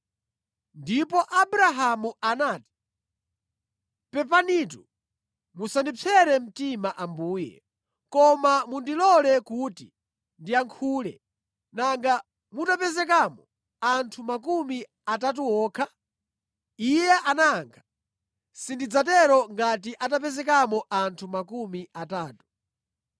Ndipo Abrahamu anati, “Pepanitu musandipsere mtima Ambuye, koma mundilole kuti ndiyankhule. Nanga mutapezekamo anthu makumi atatu okha?” Iye anayankha, “Sindidzatero ngati atapezekamo anthu makumi atatu.”